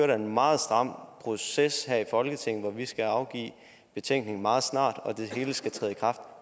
der en meget stram proces her i folketinget hvor vi skal afgive betænkning meget snart og det hele skal træde i kraft